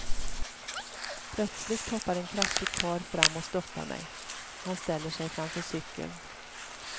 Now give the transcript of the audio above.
Plötsligt hoppar en kraftig karl fram och stoppar mig, han ställer sig framför cykeln.